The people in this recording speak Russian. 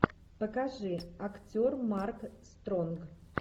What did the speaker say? покажи актер марк стронг